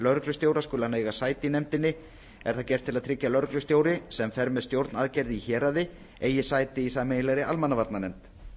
lögreglustjóra skuli hann eiga sæti í nefndinni er það gert til að tryggja að lögreglustjóri sem fer með stjórn aðgerða í héraði eigi sæti í sameiginlegri almannavarnanefnd